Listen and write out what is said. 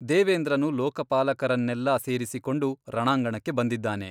ದೇವೇಂದ್ರನು ಲೋಕಪಾಲಕರನ್ನೆಲ್ಲಾ ಸೇರಿಸಿಕೊಂಡು ರಣಾಂಗಣಕ್ಕೆ ಬಂದಿದ್ದಾನೆ.